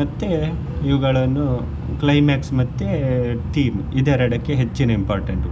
ಮತ್ತೆ ಇವುಗಳನ್ನು climax ಮತ್ತೆ theme ಇದರೆಡಕ್ಕೆ ಹೆಚ್ಚಿನ important ಕೊಡು.